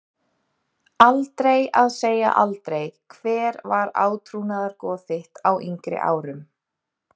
Aldrei að segja aldrei Hver var átrúnaðargoð þitt á yngri árum?